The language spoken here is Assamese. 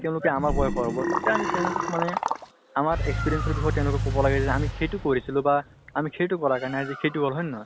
তেওঁলোকে আমাৰ বয়সৰ হব, তেতিয়া আমি তেওঁলোকক মানে আমাৰ experience ৰ বিষয়ে তেওঁলোকক কব লাগে যে আমি সেইটো কৰিছিলো বা আমি সেইটো কৰাৰ কাৰণে সেইটো হল, হয় নে নহয়?